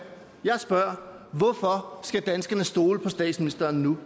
jeg spørger hvorfor skal danskerne stole på statsministeren nu